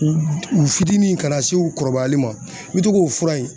U u fitinin ka na se u kɔrɔbayali ma n bɛ to k'o fura in